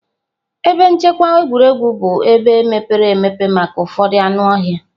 Ebe nchekwa egwuregwu bụ ebe mepere emepe maka ụfọdụ anụ ọhịa